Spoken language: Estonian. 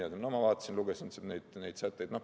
No ma lugesin neid sätteid.